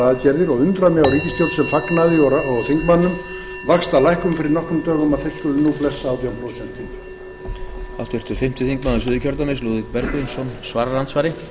aðgerðir og undra mig á ríkisstjórn og þingmönnum sem sem fögnuðu vaxtalækkun fyrir nokkrum dögum að þeir skuli nú blessa átján prósent